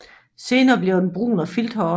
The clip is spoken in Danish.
Senere bliver den brun og filthåret